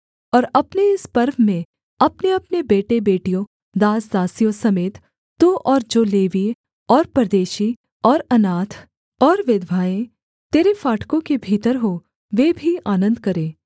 और अपने इस पर्व में अपनेअपने बेटे बेटियों दास दासियों समेत तू और जो लेवीय और परदेशी और अनाथ और विधवाएँ तेरे फाटकों के भीतर हों वे भी आनन्द करें